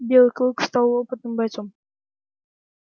белый клык стал опытным бойцом